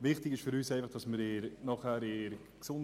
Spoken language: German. Wichtig ist uns, dies nachher in